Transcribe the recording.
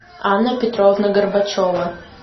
анна петровна горбачева